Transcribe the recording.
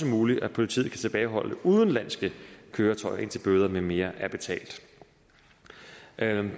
muligt at politiet kan tilbageholde udenlandske køretøjer indtil bøder med mere er